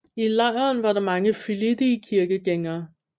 I lejren var der mange flittige kirkegængere